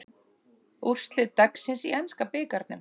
Úrslit dagsins í enska bikarnum